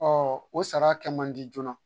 o sara kɛ mandi joona.